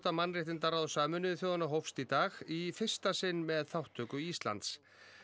mannréttindaráðs Sameinuðu þjóðanna hófst í dag í fyrsta sinn með þátttöku Íslands